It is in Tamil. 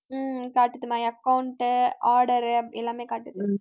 ஹம் காட்டுது my account, order அப்படி எல்லாமே காட்டுது